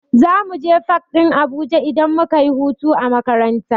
Za muje fak ɗin Abuja idan muka yi hutu a makaranta.